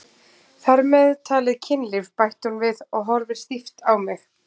Þar með talið kynlíf, bætir hún við og horfir stíft á mig.